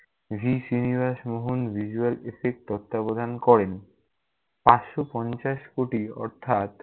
V. Srinivas Mohan visual effect তত্ত্বাবধান করেন। পাঁচশ পঞ্চাশ কোটি অর্থাৎ-